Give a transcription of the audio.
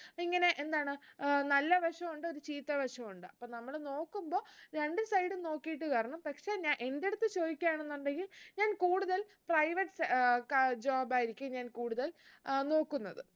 ഇങ്ങനെ എന്താണ് ഏർ നല്ല വശു ഉണ്ട് ഒരു ചീത്ത വശു ഉണ്ട് അപ്പൊ നമ്മള് നോക്കുമ്പൊ രണ്ട് side ഉം നോക്കീട്ട് കേറണം പക്ഷേ ഞ എന്റടുത്ത് ചോയ്ക്കയാണെന്നുണ്ടെങ്കിൽ ഞാൻ കൂടുതൽ privates ഏർ ക job ആയിരിക്കും ഞാൻ കൂടുതൽ ഏർ നോക്കുന്നത്